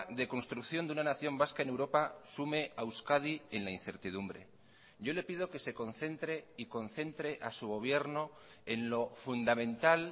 de construcción de una nación vasca en europa sume a euskadi en la incertidumbre yo le pido que se concentre y concentre a su gobierno en lo fundamental